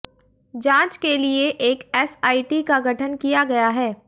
जांच के लिए एक एसआईटी का गठन किया गया है